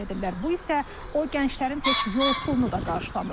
Bu isə o gənclərin heç yol pulunu da qarşılamır.